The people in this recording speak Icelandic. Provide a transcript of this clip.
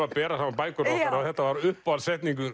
að bera saman bækur okkar og þetta var